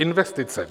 Investice.